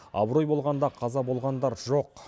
абырой болғанда қаза болғандар жоқ